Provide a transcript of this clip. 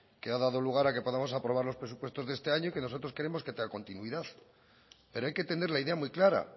que ha dado lugar a que podamos aprobar los presupuestos de este año y que nosotros queremos que tenga continuidad pero hay que tener la idea muy clara